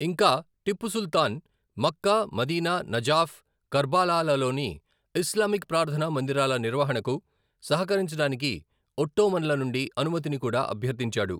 ఇంకా, Tipu Sultan Mecca, Medina, Najaf, కర్బాలాలలోని Islamic ప్రార్థనా మందిరాల నిర్వహణకు సహకరించడానికి ఒట్టోమన్ల నుండి అనుమతిని కూడా అభ్యర్థించాడు.